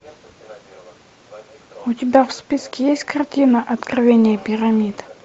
у тебя в списке есть картина откровение пирамид